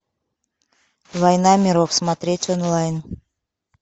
война миров смотреть онлайн